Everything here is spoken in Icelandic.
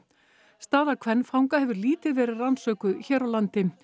staða kvenfanga hefur lítið verið rannsökuð hér á landi